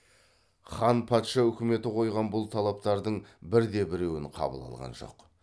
хан патша үкіметі қойған бұл талаптардың бірде біреуін қабыл алған жоқ